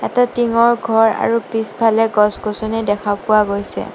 এটা টিংৰ ঘৰ আৰু পিছফালে গছ-গছনি দেখা পোৱা গৈছে।